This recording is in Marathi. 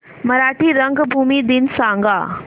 मराठी रंगभूमी दिन सांगा